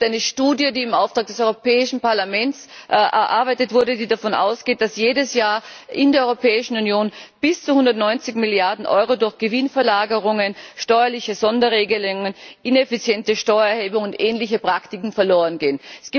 Es gibt eine Studie, die im Auftrag des Europäischen Parlaments erarbeitet wurde, die davon ausgeht, dass jedes Jahr in der Europäischen Union bis zu 190 Milliarden Euro durch Gewinnverlagerungen, steuerliche Sonderregelungen, ineffiziente Steuererhebungen und ähnliche Praktiken verlorengehen.